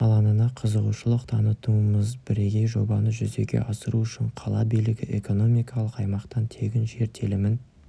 алаңына қызығушылық танытудамыз бірегей жобаны жүзеге асыру үшін қала билігі экономикалық аймақтан тегін жер телімін